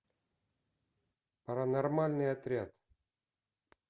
паранормальный отряд